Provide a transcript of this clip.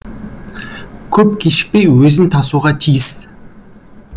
көп кешікпей өзін тасуға тиіс